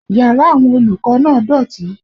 Yàrá àwọn olùkọ́ náà dọ̀tí